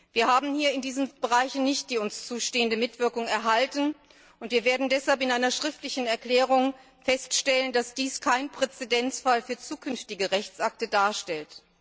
Wir haben hier in diesen Bereichen nicht die uns zustehende Mitwirkung erhalten, und wir werden deshalb in einer schriftlichen Erklärung feststellen, dass dies keinen Präzedenzfall für zukünftige Rechtsakte darstellt.